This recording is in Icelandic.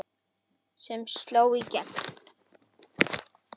sem sló í gegn.